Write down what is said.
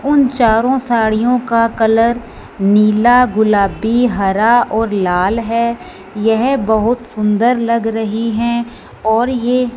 उन चारों साड़ियों का कलर नीला गुलाबी हरा और लाल है यह बहोत सुंदर लग रही हैं और ये--